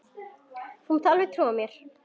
Þú mátt alveg trúa mér!